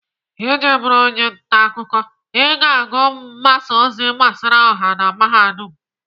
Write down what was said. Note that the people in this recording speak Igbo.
Iji bụrụ onye ntaakụkọ, ị ga-agụ mgbasa ozi gbasara ọha na Mahadum.